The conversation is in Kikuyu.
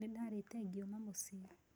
Nĩndarĩte ngiuma muciĩ